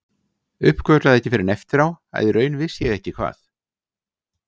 Uppgötvaði ekki fyrr en eftir á að í raun vissi ég ekki hvað